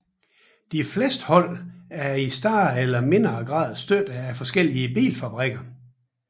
De fleste hold er i større eller mindre grad støttet af forskellige bilfabrikker